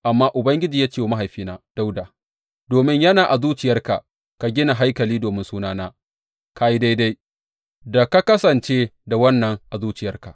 Amma Ubangiji ya ce wa mahaifina Dawuda, Domin yana a zuciyarka ka gina haikali domin Sunana, ka yi daidai da ka kasance da wannan a zuciyarka.